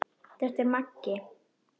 Þetta er Maggi!